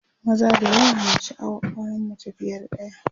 maza da yawa na sha'awar auran mace fiye da ɗaya